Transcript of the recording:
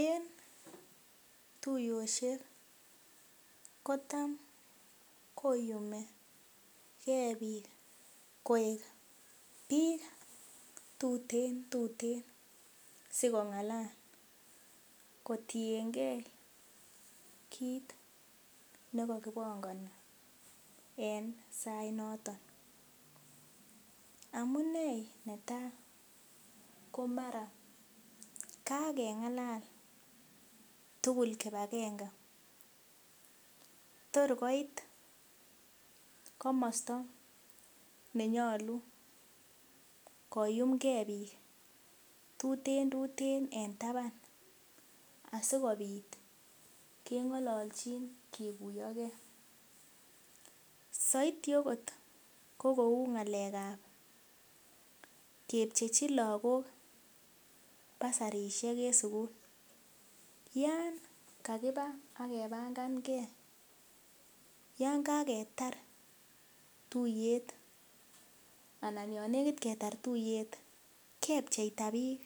En tuiyosiek, kotam koyumi kee biik koek biik tuteen tuteen si kong'alal. kotiengee kit nekokibongoni en sainoton amunee netai komara kakeng'alal tugul kipakenge torkoit komosta nenyolu koyumgee biik tuteen tuteen en taban asikobit keng'ololchin kikuiyo kee, saidi akot ko kou ng'alekab kepchechi lagok basarisiek en sugul, yan kakibaa akepangange, yangaketar tuiyet anan yon nekit ketar tuiyet kepcheita biik